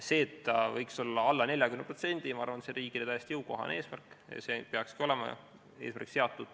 See, et ta võiks olla alla 40%, ma arvan, on riigile täiesti jõukohane, see peakski olema eesmärgiks seatud.